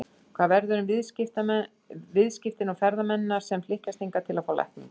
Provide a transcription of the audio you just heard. Hvað verður um viðskiptin og ferðamennina sem flykkjast hingað til að fá lækningu?